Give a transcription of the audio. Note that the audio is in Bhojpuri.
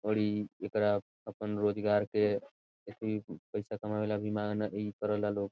ओड़ी एकरा अपन रोजगार के एथी पैसा कमावे वला अभिमान अ इ करे लो --